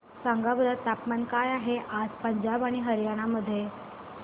सांगा बरं तापमान काय आहे आज पंजाब आणि हरयाणा मध्ये